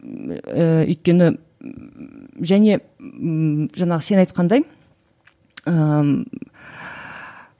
ііі өйткені ммм және ммм жаңағы сен айтқандай ыыы